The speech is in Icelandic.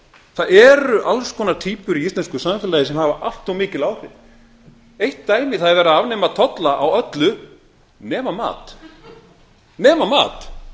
það eru alls konar týpur í íslensku samfélagi sem hafa allt of mikil áhrif eitt dæmi það er verið að afnema tolla á öllu nema mat nema mat